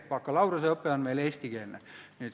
Bakalaureuseõpe on meil eestikeelne.